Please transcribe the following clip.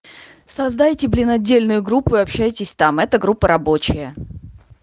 создайте блин отдельную группу и общайтесь там эта группа рабочая